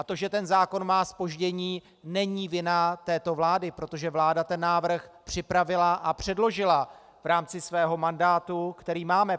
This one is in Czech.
A to, že ten zákon má zpoždění, není vina této vlády, protože vláda ten návrh připravila a předložila v rámci svého mandátu, který máme.